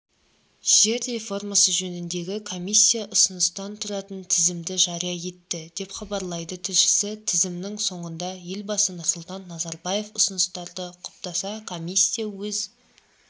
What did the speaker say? жер реформасы жөніндегі комиссия ұсыныстан тұратын тізімді жария етті деп хабарлайды тілшісі тізімнің соңында елбасы нұрсұлтан назарбаев ұсыныстарды құптаса комиссия өз